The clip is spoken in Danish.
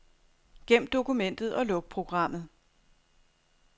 Gem dokumentet og luk programmet.